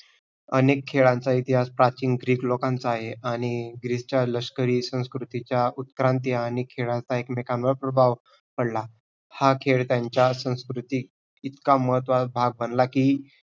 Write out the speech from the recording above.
अनेक खेळांचा इतिहास प्राचीन ग्रीक लोकांचा आहे आणि ग्रीकचा लष्करी संस्कृतीचा उत्क्रांती आणि खेळाचा एकमेकांवर प्रभाव पडला. हा खेळ त्यांच्या संस्कृती इतका महत्वाचा भाग बनला की